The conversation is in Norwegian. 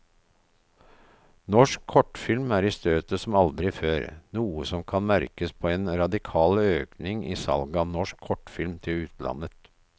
Norsk kortfilm er i støtet som aldri før, noe som også merkes på en radikal økning i salget av norsk kortfilm til utlandet.